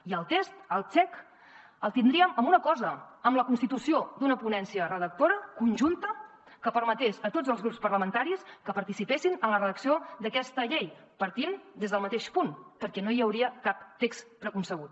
i el test el check el tindríem amb una cosa amb la constitució d’una ponència redactora conjunta que permetés a tots els grups parlamentaris que participessin en la redacció d’aquesta llei partint des del mateix punt perquè no hi hauria cap text preconcebut